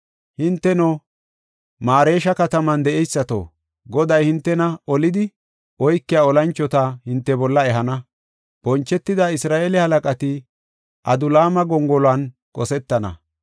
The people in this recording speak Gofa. Hinteno, Maaresha kataman de7eysato, Goday hintena olidi oykiya olanchota hinte bolla ehana; bonchetida Isra7eele halaqati Adulaama gongoluwan qosetana.